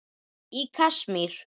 Í Kasmír,